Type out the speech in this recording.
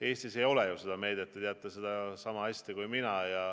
Eestis ei ole seda meedet, te teate seda sama hästi kui mina.